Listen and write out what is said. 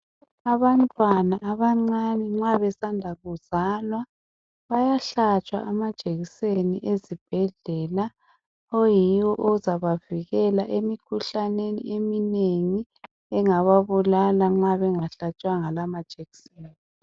Abantwana abancane nxa besanda kuzalwa, bayahlatshwa amajekiseni ezibhedlela oyiwo ozabavikela emkhuhlaneni eminengi engababulala nxa bengahlatshwanga la majekiseni.